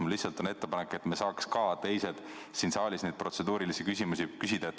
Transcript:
Mul lihtsalt on ettepanek, et me saaks ka teised siin saalis neid protseduurilisi küsimusi küsida.